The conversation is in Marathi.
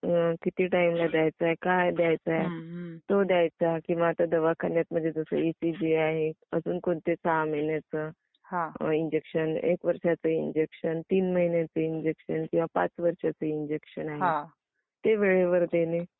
हम्म.. हो त्या व्यक्तींना किती टायमिंग ला द्यायच, काय द्यायचा आहे काय द्यायचाय आहे .. आता दवाखान्यातन जसं इसीजी आहे, अजून पुढच्या सहा महिन्यांच इंजेक्शन, एक वर्षांच इंजेक्शन, तीन महिन्याच इंजेक्शन .. किंवा 5 वर्षांच इंजेक्शन आहे, ते वेळेवर देणे.